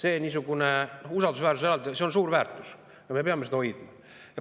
See niisugune usaldusväärsus on suur väärtus ja me peame seda hoidma.